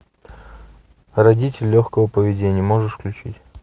родители легкого поведения можешь включить